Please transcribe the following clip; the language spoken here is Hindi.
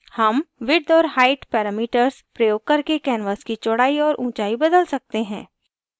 हम width और height parameters प्रयोग करके canvas की चौड़ाई और ऊँचाई बदल सकते हैं